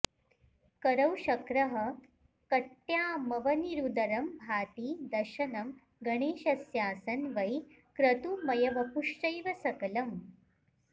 करौ शक्रः कट्यामवनिरूदरं भाति दशनं गणेशस्यासन् वै क्रतुमयवपुश्चैव सकलम्